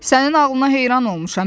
Sənin ağlına heyran olmuşam.